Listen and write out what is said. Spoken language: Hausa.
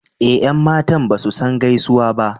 Eh yan matan basu san gaisuwa ba.